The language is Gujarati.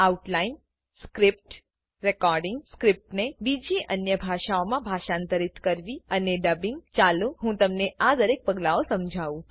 આઉટલાઈન સ્ક્રીપ્ટ રેકોર્ડીંગ સ્ક્રીપ્ટને બીજી અન્ય ભાષાઓમાં ભાષાંતરિત કરવી અને ડબિંગ ચાલો હું તમને આ દરેક પગલાઓ સમજાવું